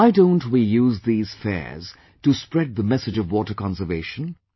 Why don't we use these fairs to spread the message of water conservation